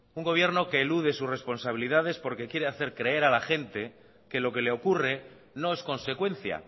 un gobierno que elude sus responsabilidades porque quiere hacer creer a la gente que lo que le ocurre no es consecuencia